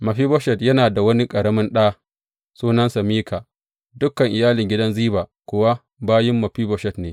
Mefiboshet yana da wani ƙaramin ɗa sunansa Mika, dukan iyalin gidan Ziba kuwa bayin Mefiboshet ne.